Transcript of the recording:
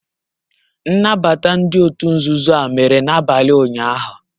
Nnabata ndị òtù nzuzo a mere n'abalị ụnyahụ